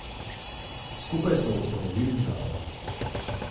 Skupaj smo ustanovili zavod.